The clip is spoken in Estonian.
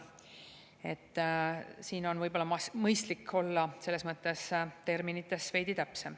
Selles mõttes on võib-olla mõistlik olla terminites veidi täpsem.